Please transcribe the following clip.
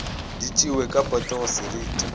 di tšewe ka potego seriti